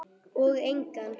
Og engan.